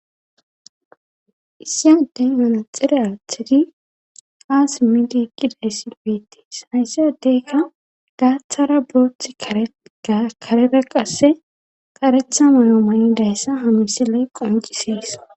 issiy aden mana xire athidi ha simidi ekkiday silbitii saysse adeykka gaaththara booth karera qasse qaretha mayo may dayssa hamisiley qoncisees